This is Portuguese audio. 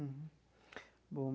Uhum bom.